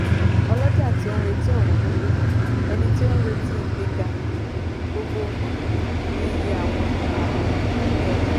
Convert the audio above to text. olọ́jà tí oun retí ọ̀wọ́n góńgó - ẹni tí ó nírètí ìgbéga gbogbogbò ní iye àwọn àábò tàbí ọjà.